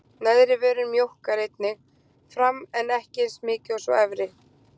Neðri vörin mjókkar einnig fram en ekki eins mikið og sú efri.